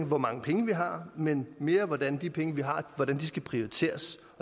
hvor mange penge vi har men mere på hvordan de penge vi har skal prioriteres